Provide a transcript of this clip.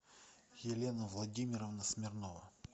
елена владимировна смирнова